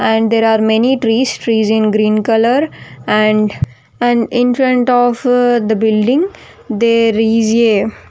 And there are many trees trees in green colour and and in front of the building there is a --